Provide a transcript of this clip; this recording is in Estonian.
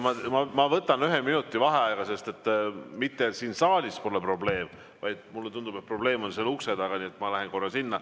Ma võtan ühe minuti vaheaega, sest mitte siin saalis pole probleem, vaid mulle tundub, et probleem on seal ukse taga, nii et ma lähen korra sinna.